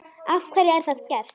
Af hverju er það gert?